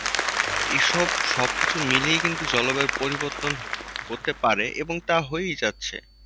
আহ এসব সবকিছু মিলিয়ে কিন্তু জলবায়ু পরিবর্তন হতে পারে এবং তা হয়ে যাচ্ছে।